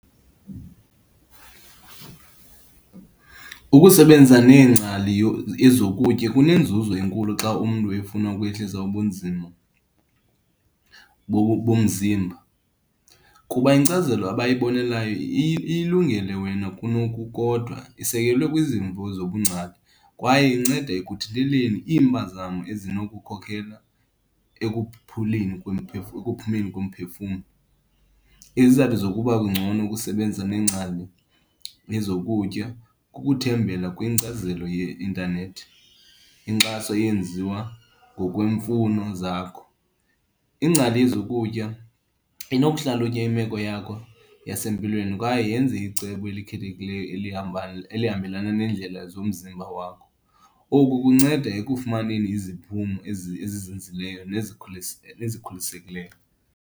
Ukusebenza neengcali yezokutya kunenzuzo enkulu xa umntu efuna ukwehlisa ubunzima bomzimba kuba inkcazelo abayibonelayo ilungele wena kunokukodwa. Isekelwe kwizimvo zobungcali kwaye inceda ekuthinteleni iimpazamo ezinokukhokhela ekuphuleni ekuphumeni komphefumlo. Izizathu zokuba kungcono ukusebenza neengcali ezokutya kukuthembela kwinkcazelo yeintanethi. Inkxaso eyenziwa ngokweemfuno zakho. Iingcali yezokutya inokuhlalutya imeko yakho yam yasempilweni kwaye yenze icebo elikhethekileyo elihambelana neendlela zomzimba wakho. Oku kunceda ekufumaneni iziphumo ezizinzileyo nesikholisekileyo.